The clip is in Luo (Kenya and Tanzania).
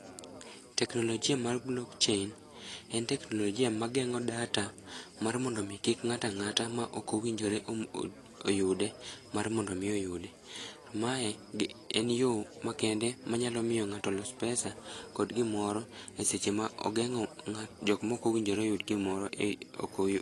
Teknolojia mar blokchein en teknolojia mageng'o data mar mondo omi kik ng'at ang'ata ma okowinjore oyude mar mondo omi oyude. Mae en yo ma kende ma nyalo miyo ng'ato los pesa kod gimoro e seche ma ogeng'o jokmokowinjore oyud gimoro e...